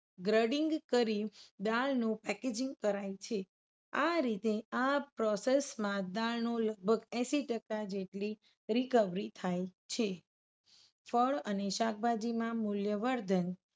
Grading કરી દાળનું packaging કરાય છે. આ રીતે આ process માં દાળનો લગભગ એશિટકા જેટલી recovery થાય છે. ફળ અને શાકભાજીમાં મૂલ્યવર્ધન.